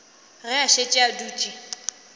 ge a šetše a dutše